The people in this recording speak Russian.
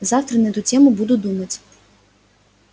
завтра на эту тему буду думать